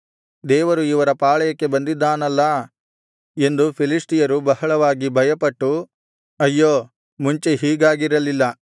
ದೇವರು ಇವರ ಪಾಳೆಯಕ್ಕೆ ಬಂದಿದ್ದಾನಲ್ಲಾ ಎಂದು ಫಿಲಿಷ್ಟಿಯರು ಬಹಳವಾಗಿ ಭಯಪಟ್ಟು ಅಯ್ಯೋ ಮುಂಚೆ ಹೀಗಾಗಿರಲ್ಲಿಲ್ಲ